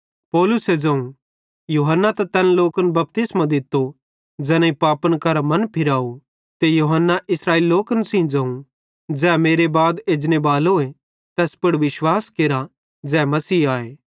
पौलुसे ज़ोवं यूहन्ना त तैन लोकन बपतिस्मो दित्तो ज़ैनेईं पापन करां मन फिराथ ते यूहन्ना इस्राएली लोकन ज़ोवं ज़ै मेरे बाद एजनेबालोए तैस पुड़ विश्वास केरा ज़ै मसीह आए